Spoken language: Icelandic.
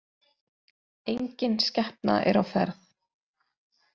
Enginn skepna er á ferð